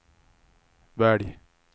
välj